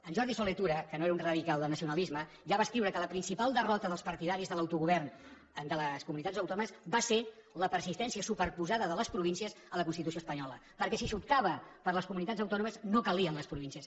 en jordi solé tura que no era un radical del nacionalisme ja va escriure que la principal derrota dels partidaris de l’autogovern de les comunitats autònomes va ser la persistència superposada de les províncies en la constitució espanyola perquè si s’optava per les comunitats autònomes no calien les províncies